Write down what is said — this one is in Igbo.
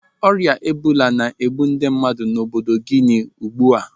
Ọrịa ebola na-egbu ndị mmadụ n'obodo Guinea ugbu a.